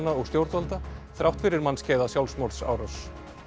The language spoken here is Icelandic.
og stjórnvalda þrátt fyrir mannskæða sjálfsmorðsárás